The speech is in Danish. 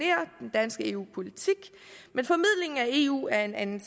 danske eu politik men formidlingen af eu er en anden